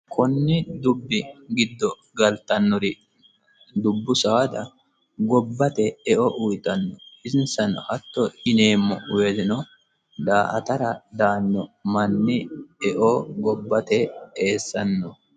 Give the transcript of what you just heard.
Konni dubbi giddo galtannori dubbu saada gobbate eo uyiitanno hatto yineemmo woyiiteno daa"atara daanno manni gobbate eo eessanno.